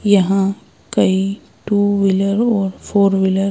यहाँ कई two wheeler और फोर व्हीलर --